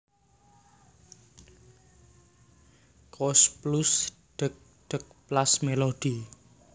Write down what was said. Koes Plus Dheg dheg Plas Melody